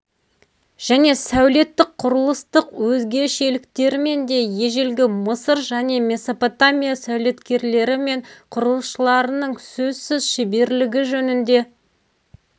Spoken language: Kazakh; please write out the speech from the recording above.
және сәулеттік құрылыстық өзгешеліктерімен де ежелгі мысыр және месопотамия сәулеткерлері мен құрылысшыларының сөзсіз шеберлігі жөнінде